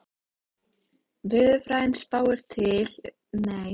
Veðurfræðin spáir til að mynda fyrir um hvernig veðrið verði í framtíðinni.